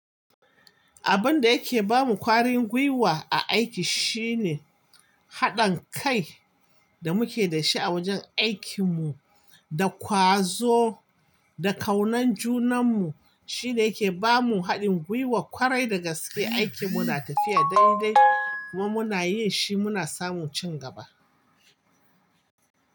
Abun da yake ba mu kwarin gwiwa a aiki shine haɗin kai da muke da shi a wajen aikin mu da ƙwazo da ƙaunan junan mu shine yake ba mu haɗin gwiwar ƙwarai da gaske. Aiki muna tafiya dai dai kuma muna yin shi muna samun cin gaba.